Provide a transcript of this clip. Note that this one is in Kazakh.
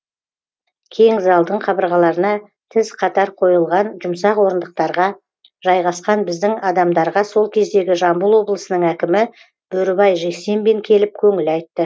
кең залдың қабырғаларына тіз қатар қойылған жұмсақ орындықтарға жайғасқан біздің адамдарға сол кездегі жамбыл облысының әкімі бөрібай жексембин келіп көңіл айтты